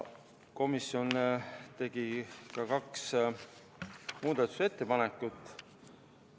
Komisjon tegi kaks muudatusettepanekut.